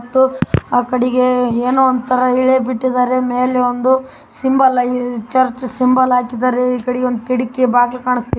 ಮತ್ತು ಆ ಕಡಿಗೆ ಏನೋ ಒಂದು ತರ ಎಳೆ ಬಿಟ್ಟಿದ್ದಾರೆ ಮೇಲೆ ಒಂದು ಸಿಂಬಲ್‌ ಆಯ್ ಚರ್ಚ್‌ ಸಿಂಬಲ್‌ ಹಾಕಿದ್ದಾರೆ ಈ ಕಡೆ ಒಂದು ಕಿಟಕಿ ಬಾಗಿಲು ಕಾಣಿಸ್ತಾ ಇದೆ.